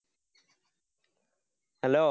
hello